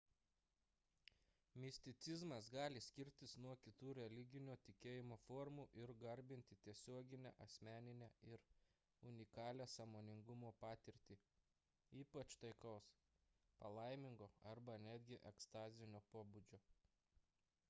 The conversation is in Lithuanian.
misticizmas gali skirtis nuo kitų religinio tikėjimo formų ir garbinti tiesioginę asmeninę ir unikalią sąmoningumo patirtį ypač taikaus palaimingo arba netgi ekstazinio pobūdžio